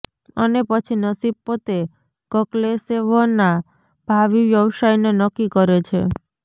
અને પછી નસીબ પોતે કક્લેશેવના ભાવિ વ્યવસાયને નક્કી કરે છે